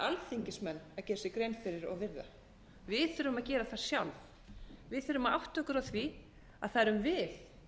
alþingismenn að gera sér grein fyrir og virða við þurfum að gera það sjálf við þurfum að átta okkur á því að að erum við